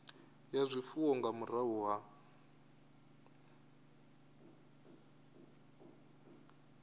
ya zwifuwo nga murahu ha